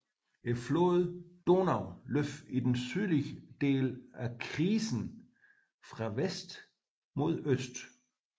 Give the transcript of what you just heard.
Floden Donau løber i den sydlige del af krisen fra vest mod øst